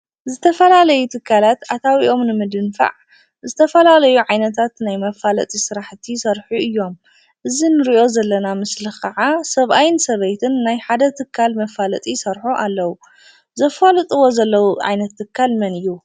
ዝተፈላለዩ ትካላት ኣታዊኦም ንምድንፋዕ ዝተፈላለዩ ዓይነታት ናይ መፋለጢ ስራሕቲ ይሰርሑ እዮም። እዚ ንሪኦ ዘለና ምስሊ ከዓ ሰብኣይን ሰበይትን ናይ ሓደ ትካል መፋለጢ ይሰርሑ ኣለው። ዘፋልጥዎ ዘለው ዓይነት ትካል መን እዩ?